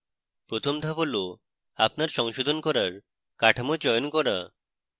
প্রথম ধাপ হল আপনার সংশোধন করার কাঠামো চয়ন করা